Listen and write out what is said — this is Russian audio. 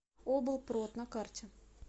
облпрод на карте